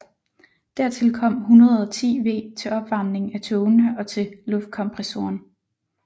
Dertil kom 110 V til opvarmning af togene og til luftkompressoren